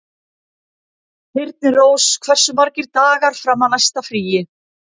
Þyrnirós, hversu margir dagar fram að næsta fríi?